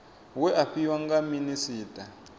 we a fhiwa nga minisita